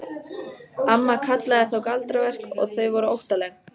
Amma kallaði þá galdraverk og þau voru óttaleg.